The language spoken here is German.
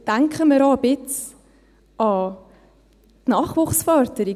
Denken wir auch ein wenig an die Nachwuchsförderung: